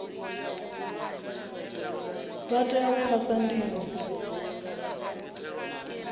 vha tea u phasa ndingo